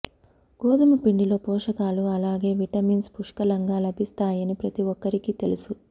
గోధుమ పిండిలో పోషకాలు అలాగే విటమిన్స్ పుష్కలంగా లభిస్తాయని ప్రతి ఒక్కరికి తెలుసు